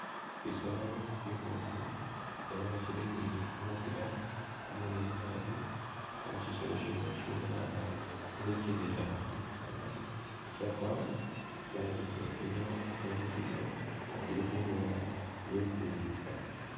Shisolo shiboofu ela nga shili ne kumukhiila kumuleeyi naabi ela nga shisolo shino shibonekha nga shili khukendela khubisaala ishakwa amala shisolo ishino shemikhile nga shili khulola esi shitsa.